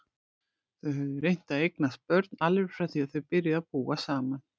Þau höfðu reynt að eignast börn alveg frá því þau byrjuðu að búa saman.